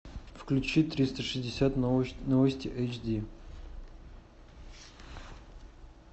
включи триста шестьдесят новости эйчди